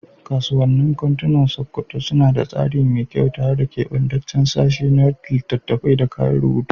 Kasuwannin kantunan Sokoto suna da tsari mai kyau, tare da kebantaccen sashe na littattafai da kayan rubutu.